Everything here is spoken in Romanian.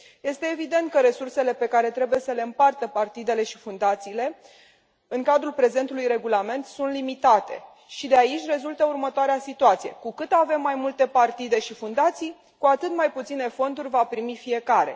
Este evident că resursele pe care trebuie să le împartă partidele și fundațiile în cadrul prezentului regulament sunt limitate, și de aici rezultă următoarea situație cu cât avem mai multe partide și fundații, cu atât mai puține fonduri va primi fiecare.